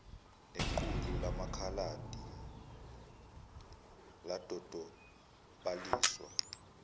nequlu lamakhaladi ladodobaliswa